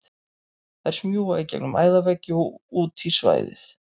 Þær smjúga í gegnum æðaveggi og út í svæðið.